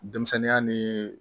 Denmisɛnninya ni